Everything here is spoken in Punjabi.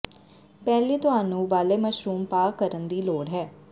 ਪਹਿਲੀ ਤੁਹਾਨੂੰ ਉਬਾਲੇ ਮਸ਼ਰੂਮ ਪਾ ਕਰਨ ਦੀ ਲੋੜ ਹੈ